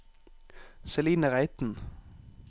Celine Reiten